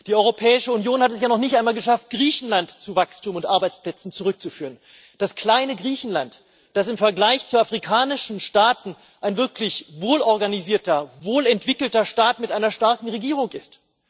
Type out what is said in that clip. Die Europäische Union hat es ja noch nicht einmal geschafft, Griechenland zu Wachstum und Arbeitsplätzen zurückzuführen, das kleine Griechenland, das im Vergleich zu afrikanischen Staaten ein wirklich wohlorganisierter, wohlentwickelter Staat mit einer starken Regierung ist.